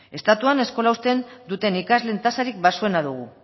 estatuan eskola uzten duten ikasleen tasarik baxuena dugu